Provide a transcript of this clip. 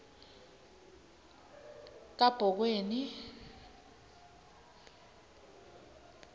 kabhokweni